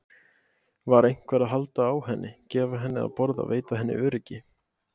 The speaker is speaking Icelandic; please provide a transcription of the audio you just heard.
Var einhver að halda á henni, gefa henni að borða, veita henni öryggi?